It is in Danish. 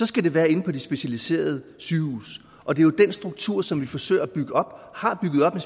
skal det være inde på de specialiserede sygehuse og det er jo den struktur som vi forsøger at bygge op og har bygget op